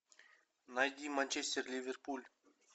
найди манчестер ливерпуль